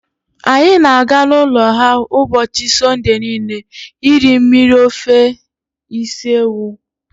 Anyị na-aga n'ụlọ ha ụbọchị Sọnde niile iri mmiri ofe isi ewu.